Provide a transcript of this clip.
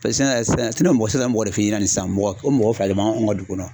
mɔgɔ ko mɔgɔ fila de b'anw ka dugu kɔnɔ.